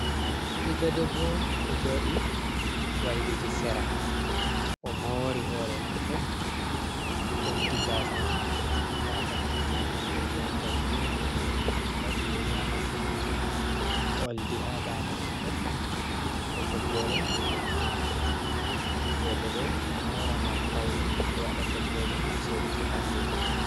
Ɓiɗɗo debbo ɗo jooɗii wailiti sera, o moori hoore maako, o ɓeddi gaasa man be gaasa kanti, nonde ndiyam jargina, o waɗii yeri haa noppi maako, oldi haa daande maako, be toggore nonde pink, roɓe do moora ngam paune, ɓe waɗa toggoje ngam suuruki ɓalli maɓɓe.